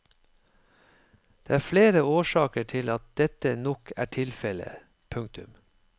Det er flere årsaker til at dette nok er tilfellet. punktum